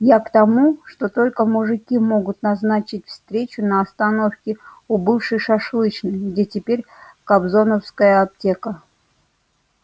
я к тому что только мужики могут назначить встречу на остановке у бывшей шашлычной где теперь кобзоновская аптека